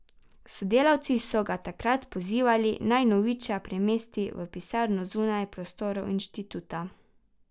Sodelavci so ga takrat pozivali, naj Noviča premesti v pisarno zunaj prostorov inštituta.